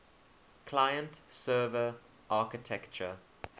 client server architecture